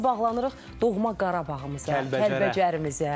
bağlanırıq doğma Qarabağımıza, Kəlbəcərimizə.